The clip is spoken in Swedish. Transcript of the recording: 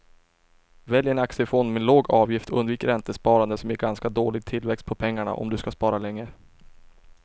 Välj en aktiefond med låg avgift och undvik räntesparande som ger ganska dålig tillväxt på pengarna om du ska spara länge.